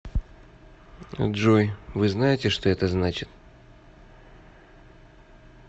джой вы знаете что это значит